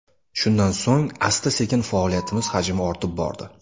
Shundan so‘ng asta-sekin faoliyatimiz hajmi ortib bordi.